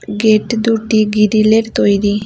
Gate দুটি গিরিলের তৈরি।